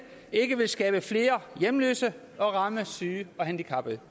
ikke vil skabe flere hjemløse og ramme syge og handicappede